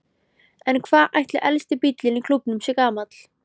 En hvað ætli elsti bíllinn í klúbbnum sé gamall?